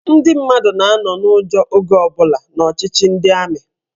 Ndị mmadụ na-anọ n'ụjọ oge ọbụla n'ọchịchị ndị amị.